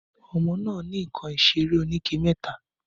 Ọmọ nà ni ìkań ìsẹrẹ òníké mẹta